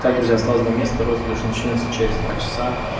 так друзья осталось два места розыгрыш начнётся через два часа